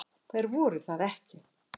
Þær voru það ekki.